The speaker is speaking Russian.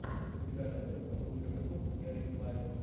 у тебя найдется лучший выпуск берегс лайв